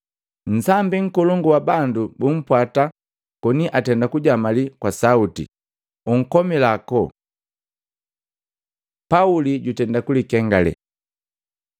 Nsambi nkolongu wa bandu bumpwata koni atenda kujamali kwa sauti, “Unkomila ako!” Pauli jutenda kulingengalela